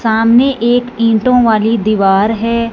सामने एक ईंटों वाली दीवार है।